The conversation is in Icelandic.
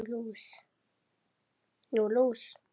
Nú, lús